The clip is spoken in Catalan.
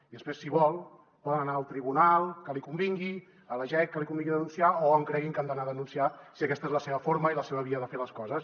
i després si vol poden anar al tribunal que li convingui a la jec que li convingui o a on creguin que han d’anar a denunciar si aquesta és la seva forma i la seva via de fer les coses